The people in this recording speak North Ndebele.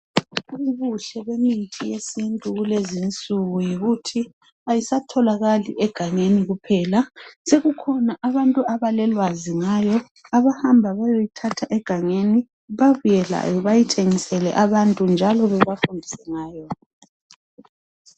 Ubuhle bemithi yesintu kulezi insuku yikuthi ayisatholakali egangeni kuphela sekukhona abantu abalolwazi ngayo abahamba bayoyithatha egangeni babuye layo bayithengisele abantu njalo bebafundise ngayo.